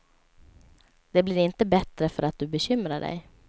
Det blir inte bättre för att du bekymrar dig.